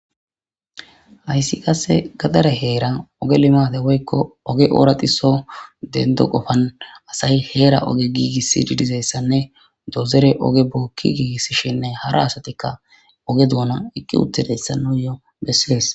Hayssi qasse gadare heera oge limate woykko oge ooratiso dendo qofan asayi heera oge giigiss didizessanne dozere oge bookki giigissshinne hara asatikka oge duuna ekki uttedeyssa noyo bessees